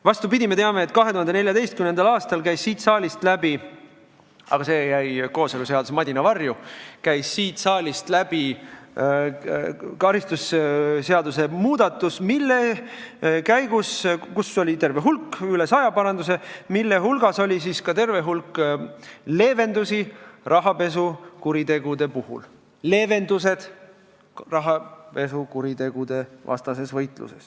Vastupidi, me teame, et 2014. aastal käis siit saalist läbi – aga see jäi kooseluseaduse madina varju – karistusseadustiku muutmine, mille käigus tehti üle saja paranduse ning nende hulgas oli terve hulk rahapesukuritegude vastase võitluse leevendusi.